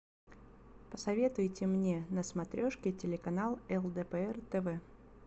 посоветуйте мне на смотрешке телеканал лдпр тв